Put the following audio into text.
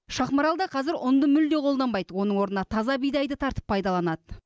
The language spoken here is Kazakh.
шахмарал да қазір ұнды мүлде қолданбайды оның орнына таза бидайды тартып пайдаланады